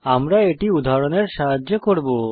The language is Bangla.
আমরা এটি উদাহরণের সাহায্যে করব